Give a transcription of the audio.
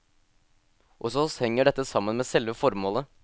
Hos oss henger dette sammen med selve formålet.